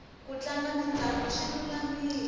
ku tlanga mitlango swi lulamile